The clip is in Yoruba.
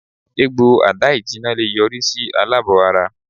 Egbo ada-ijina le yori si alabo-ara